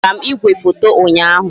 A zụtara m igwefoto ụnyaahụ